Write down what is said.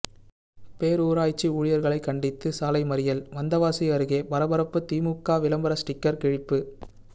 பேரூராட்சி ஊழியர்களை கண்டித்து சாலை மறியல் வந்தவாசி அருகே பரபரப்பு திமுக விளம்பர ஸ்டிக்கர் கிழிப்பு